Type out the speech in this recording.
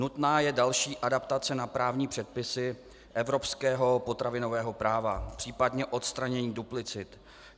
Nutná je další adaptace na právní předpisy evropského potravinového práva, případně odstranění duplicit.